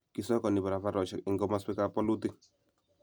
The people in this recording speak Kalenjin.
kisokoni barabarosiek eng komoswekab bolutik